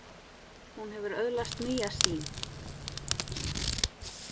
Hún hefur öðlast nýja sýn.